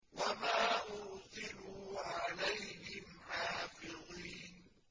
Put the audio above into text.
وَمَا أُرْسِلُوا عَلَيْهِمْ حَافِظِينَ